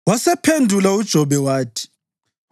Wasephendula uJobe wathi: